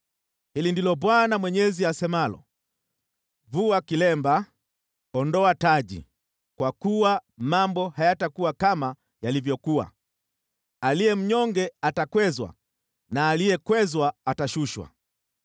hili ndilo Bwana Mwenyezi asemalo: Vua kilemba, ondoa taji. Kwa kuwa mambo hayatakuwa kama yalivyokuwa. Aliye mnyonge atakwezwa na aliyekwezwa atashushwa.